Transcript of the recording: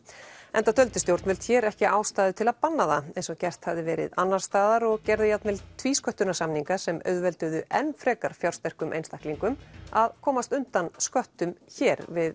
enda töldu stjórnvöld hér ekki ástæðu til að banna það eins og gert hafði verið annars staðar og gerðu jafnvel tvísköttunarsamninga sem auðvelduðu enn frekar fjársterkum einstaklingum að komast undan sköttum hér við